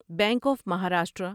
bank of Maharashtra